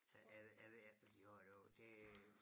Jeg ved jeg ved ikke hvad de har derovre det